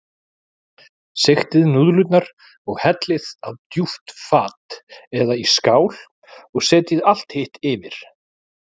Sigtið núðlurnar og hellið á djúpt fat eða í skál og setjið allt hitt yfir.